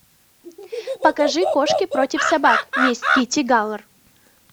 покажи кошки против собак месть китти галор